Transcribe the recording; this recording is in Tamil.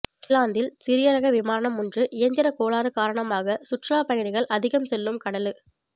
இங்கிலாந்தில் சிறிய ரக விமானம் ஒன்று இயந்திரக் கோளாறு காரணமாக சுற்றுலாப்பயணிகள் அதிகம் செல்லும் கடலு